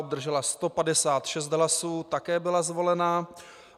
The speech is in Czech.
Obdržela 156 hlasů, také byla zvolena.